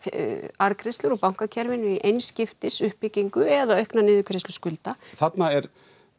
arðgreiðslur úr bankakerfinu í einskiptis uppbyggingu eða aukna niðurgreiðslu skulda þarna er